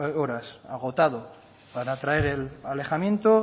horas agotado para traer el alejamiento